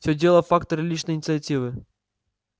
всё дело в факторе личной инициативы